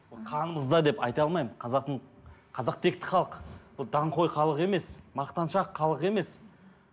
қанымызда деп айта алмаймын қазақтың қазақ текті халық ол даңғой халық емес мақтаншақ халық емес